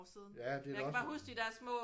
Ja det er da også